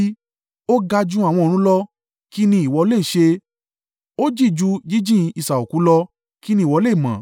Ó ga ju àwọn ọ̀run lọ; kí ni ìwọ le è ṣe? Ó jìn ju jíjìn isà òkú lọ; kí ni ìwọ le mọ̀?